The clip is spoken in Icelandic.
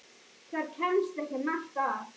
Þar kemst ekki margt að.